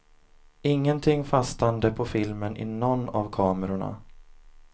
Ingenting fastande på filmen i någon av kamerorna.